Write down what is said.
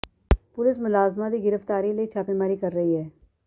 police ਮੁਲਜ਼ਮਾਂ ਦੀ ਗਿ੍ਫਤਾਰੀ ਲਈ ਛਾਪੇਮਾਰੀ ਕਰ ਰਹੀ ਹੈ